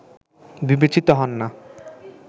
বিবেচিত হন না